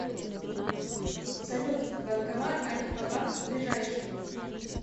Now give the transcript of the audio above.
салют банкомат альфа банк ближайший